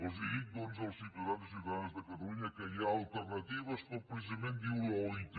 els dic doncs als ciutadans i ciutadanes de catalunya que hi ha alternatives com precisament diu l’oit